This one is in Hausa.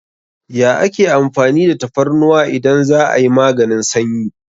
Ya ake amfani da tafarnuwa idan za'a yi maganin sanyi?